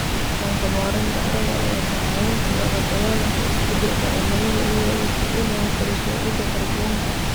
Dhaqanka maaraynta carrada ayaa kaa caawin kara la dagaallanka isbeddelka cimilada iyadoo la kordhinayo kala-soocidda kaarboonka.